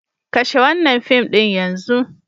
Kashe wannan fim din yanzu!